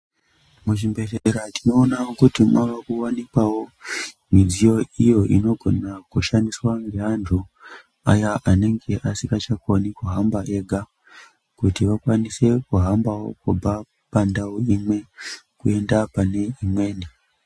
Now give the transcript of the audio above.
Muzvibhedhlera tinoonawo kuti mavakuwanikwawo midziyo iyo inogona kushandiswa ngeantu aya anenge asingachakoni kuhamba ega, kuti vakwanisewo kuhamba kubva pandau imwe kuenda pane imweni.